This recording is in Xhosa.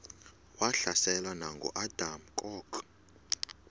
wahlaselwa nanguadam kok